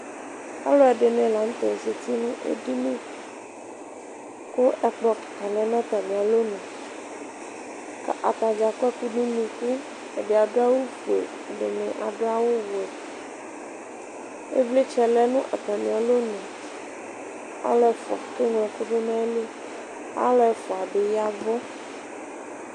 Alʋ ɛdini lanʋtɛ zati nʋ edini kʋ ɛkplɔ kika lanʋ atami alɔnʋ atadza akɔ ɛkʋ dʋnʋ ʋnʋkʋ ɛdi adʋ awʋfue ɛdini adʋ awʋwɛ ivlitsɛ lɛnʋ atami alɔnʋ alʋ ɛfʋa keŋlɔ ɛkʋ dʋnʋ atili kʋ alʋ ɛfʋa bi ya ɛvʋ